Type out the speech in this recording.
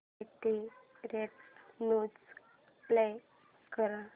latest news play कर